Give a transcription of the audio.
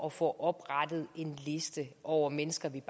at få oprettet en liste over mennesker vi